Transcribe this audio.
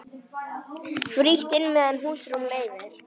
Frítt inn meðan húsrúm leyfir.